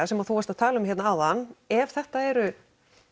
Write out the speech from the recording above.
sem þú varst að tala um hérna áðan ef þetta eru